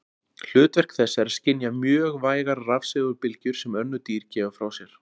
Hlutverk þess er að skynja mjög vægar rafsegulbylgjur sem önnur dýr gefa frá sér.